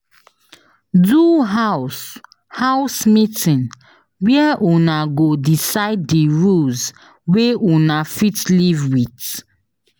Do house house meeting where Una go decide di rules wey Una fit live with